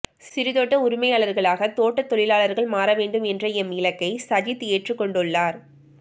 சிறு தோட்ட உடமையாளர்களாக தோட்ட தொழிலாளர்கள் மாறவேண்டும் என்ற எம் இலக்கை சஜித் ஏற்றுக்கொண்டுள்ளார்